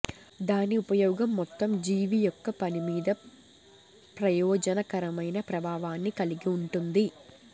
దాని ఉపయోగం మొత్తం జీవి యొక్క పని మీద ప్రయోజనకరమైన ప్రభావాన్ని కలిగి ఉంటుంది